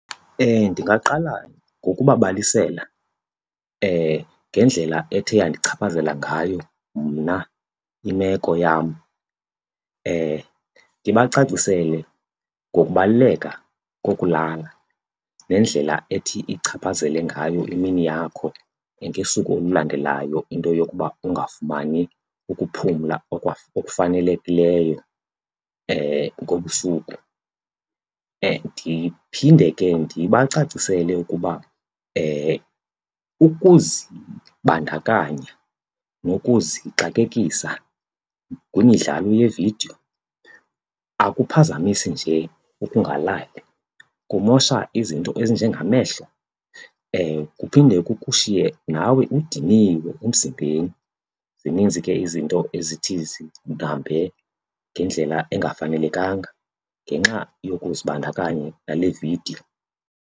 Ndingaqala ngokubabalisela ngendlela ethe yandichaphazela ngayo mna imeko yam. Ndibacacisele ngokubaluleka kokulala nendlela ethi ichaphazele ngayo imini yakho ngesuku olulandelayo into yokuba ungafumani ukuphumla okufanelekileyo ngobusuku. Ndiphinde ke ndibacacisele ukuba ukuzibandakanya nokuzixakekisa kwimidlalo yeevidiyo akuphazamisi nje ukungalali, kumosha izinto ezinjengamehlo kuphinde kukushiye ke nawe udiniwe emzimbeni. Zininzi ke izinto ezithi zihambe ngendlela engafanelekanga ngenxa yokuzibandakanya nale vidiyo.